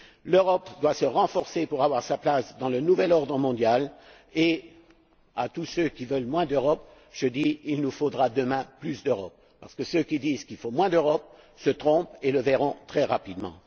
L'Europe doit se renforcer pour avoir sa place dans le nouvel ordre mondial et, à tous ceux qui veulent moins d'Europe, je dis il nous faudra demain plus d'Europe, parce que ceux qui disent qu'il faut moins d'Europe se trompent et le verront très rapidement.